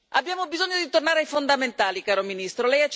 Abbiamo bisogno di tornare ai fondamentali, caro Ministro.